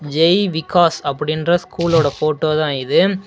ஜெய்விகாஸ் அப்படின்ற ஸ்கூலோட ஃபோட்டோ தான் இது.